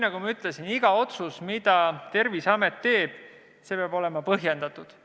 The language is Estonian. Nagu ma ütlesin, peab iga otsus, mille Terviseamet teeb, olema põhjendatud.